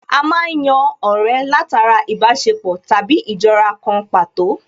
A má ń yan ọ̀rẹ́ látara ìbáṣepọ̀ tàbí ìjọra kan pàtó